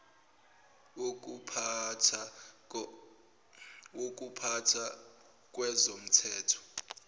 wokupha tha kwezomthetho